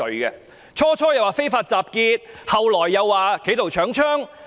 最初的說法是"非法集結"，後來則說是"企圖搶槍"。